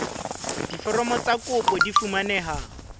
diforomo tsa kopo di fumaneha